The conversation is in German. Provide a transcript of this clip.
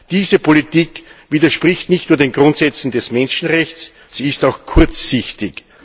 Diese Politik widerspricht nicht nur den Grundsätzen der Menschenrechte, sie ist auch kurzsichtig.